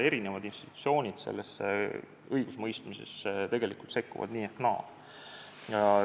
Eri institutsioonid sekkuvad sellesse õigusemõistmisesse tegelikult nii ehk naa.